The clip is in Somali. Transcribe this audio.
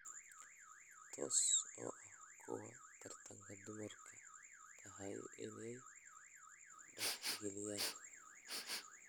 Taas oo ah kuwa taranka dumarka ay tahay in ay tixgeliyaan.